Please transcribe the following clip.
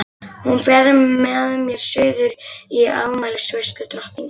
Hún fer með mér suður í afmælisveislu drottningar.